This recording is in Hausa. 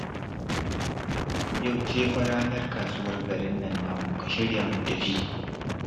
Yau ce fa ranar kasuwar garin nan namu, ka shirya mu tafi